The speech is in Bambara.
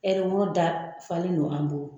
dafalen don an bolo